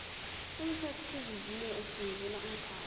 umthethosivivinyo usungula umkhandlu